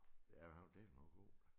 Ja men han var dæleme også god